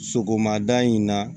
Sogomada in na